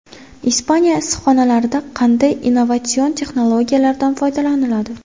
Ispaniya issiqxonalarida qanday innovatsion texnologiyalardan foydalaniladi?.